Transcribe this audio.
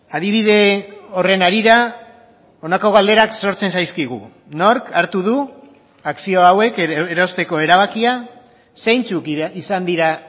adibide horren harira honako galderak sortzen zaizkigu nork hartu du akzio hauek erosteko erabakia zeintzuk izan dira